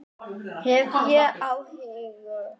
Hef ég áhyggjur?